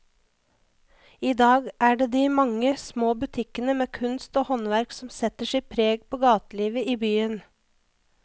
I dag er det de mange små butikkene med kunst og håndverk som setter sitt preg på gatelivet i byen.